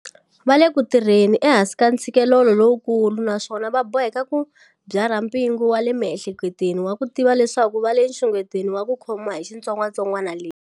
Va le ku tirheni ehansi ka ntshikelelo lowukulu naswona va boheka ku byarha mpingu wa le miehleketweni wa ku tiva leswaku va le nxungetweni wa ku khomiwa hi xitsongwatsongwana lexi.